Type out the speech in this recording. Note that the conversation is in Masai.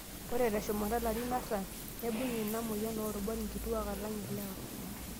Ore teshumata larin artam, neibung inamoyian oorubat nkituak alang' ilewa.